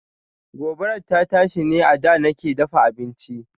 Gobarar ta tashi ne a da nake dafa abinci.